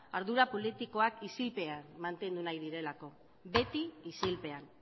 ardura politikoak isilpean mantendu nahi direlako beti isilpean